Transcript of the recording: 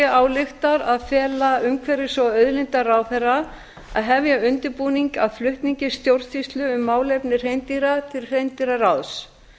ályktar að fela umhverfis og auðlindaráðherra að hefja undirbúning að flutningi stjórnsýslu um málefni hreindýra til hreindýraráðs